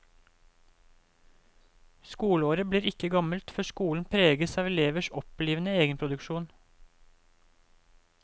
Skoleåret blir ikke gammelt før skolen preges av elevers opplivende egenproduksjon.